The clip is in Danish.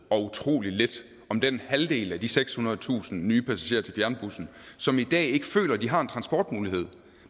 og utrolig lidt om den halvdel af de sekshundredetusind nye passagerer til fjernbusserne som i dag ikke føler at de har en transportmulighed